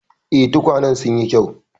Eh, tukwanen sun yi kyau.